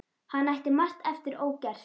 Hann ætti margt eftir ógert.